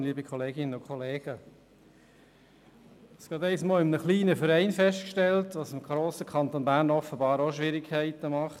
Ich habe kürzlich in einem kleinen Verein festgestellt, was dem grossen Kanton Bern offenbar auch Schwierigkeiten bereitet: